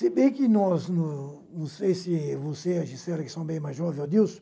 Se bem que nós... Não não sei se você e a Gisela que são bem mais jovens e o Adilson